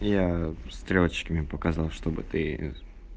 я стрелочками показал чтобы ты